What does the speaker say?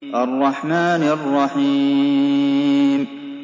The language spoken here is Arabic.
الرَّحْمَٰنِ الرَّحِيمِ